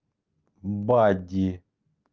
бади